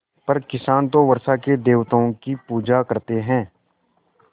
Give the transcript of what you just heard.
पर किसान तो वर्षा के देवताओं की पूजा करते हैं